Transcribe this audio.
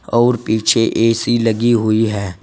और पीछे ए_सी लगी हुई है।